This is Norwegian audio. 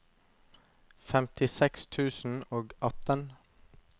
femtiseks tusen og atten